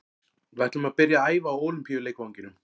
Við ætlum að byrja að æfa á Ólympíuleikvanginum.